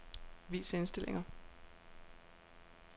Vis indstillinger.